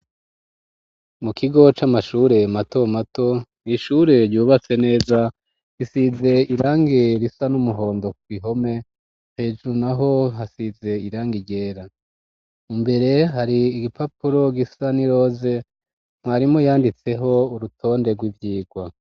Mu kigo c'amashure mato mato ni ishure ryubatse neza gisize irangi risa n'umuhondo ku gihome hejuru naho hasize irangi ryera. Imbere hari igipapuro gisa n'iroze mwarimu yanditseho urutonde rw'ivyigwa.